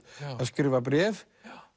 að skrifa bréf